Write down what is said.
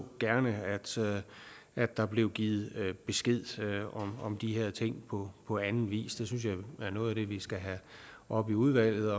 gerne at der blev givet besked om de her ting på på anden vis det synes jeg er noget af det vi skal have op i udvalget